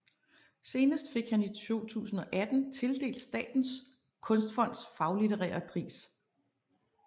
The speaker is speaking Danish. Senest fik han i 2018 tildelt Statens Kunstfonds Faglitterære pris